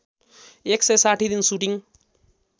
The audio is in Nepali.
१६० दिन सुटिङ